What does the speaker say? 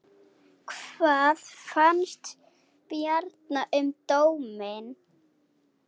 Hvað fannst Bjarna um dóminn?